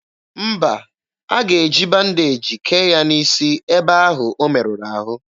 Mba, a ga-eji bandeji kee ya n'isi ebe ahụ o merụrụ ahụ.